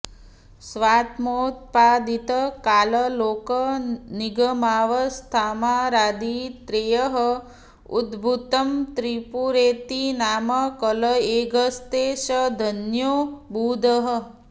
स्वात्मोत्पादित काल लोक निगमावस्थामरादि त्रयैः उद्भूतं त्रिपुरेति नाम कलयेद्यस्ते स धन्यो बुधः